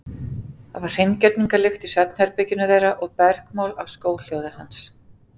Það var hreingerningarlykt í svefnherberginu þeirra og bergmál af skóhljóði hans.